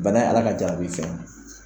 Bana ye Ala ka jarabi fɛn ye.